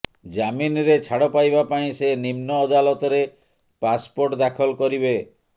ଜାମିନରେ ଛାଡ ପାଇବା ପାଇଁ ସେ ନିମ୍ନ ଅଦାଲତରେ ପାର୍ସପୋର୍ଟ ଦାଖଲ କରିବେ